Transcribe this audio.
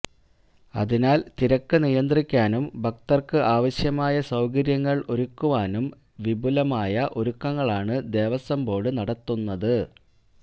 അതിനാൽ തിരക്ക് നിയന്ത്രിക്കാനും ഭക്തർക്ക് ആവശ്യമായ സൌകര്യങ്ങൾ ഒരുക്കുവാനും വിപുലമായ ഒരുക്കങ്ങളാണ് ദേവസ്വം ബോർഡ് നടത്തുന്നത്